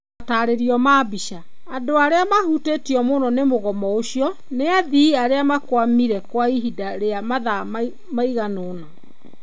Mataarerio ma mbica. Andũ arĩa maahutirio mũno nĩ mũgomo ũcio nĩ athii arĩa makwamire kwa ihinda rĩa mathaa maigana ũna..